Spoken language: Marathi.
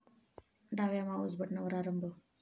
डाव्या माउस बटनावर आरंभ